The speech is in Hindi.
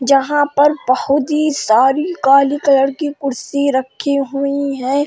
जहां पर बहोत ही सारी काली कलर कुर्सी रखी हुई हैं।